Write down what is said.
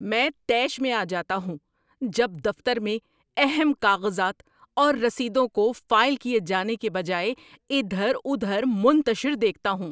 میں طیش میں آ جاتا ہوں جب دفتر میں اہم کاغذات اور رسیدوں کو فائل کیے جانے کے بجائے اِدھر اُدھر منتشر دیکھتا ہوں۔